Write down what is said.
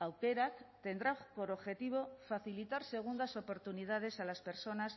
aukerak tendrá por objetivo facilitar segundas oportunidades a las personas